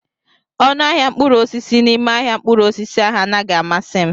Ọnụ ahịa mkpụrụ osisi n'ime ahịa mkpụrụ osisi ahụ anaghị amasị m.